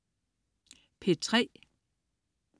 P3: